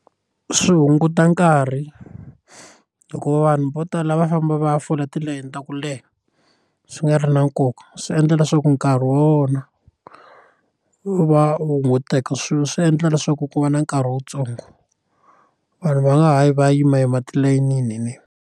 Swi hunguta nkarhi hikuva vanhu vo tala va famba va ya fola tilayini ta ku leha swi nga ri na nkoka swi endla leswaku nkarhi vona wu va wu hunguteka swilo swi endla leswaku ku va na nkarhi wutsongo vanhu va nga ha yi va yima yima tilayinini.